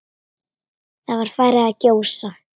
Það var farið að gjósa.